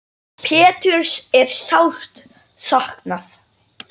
Péturs er sárt saknað.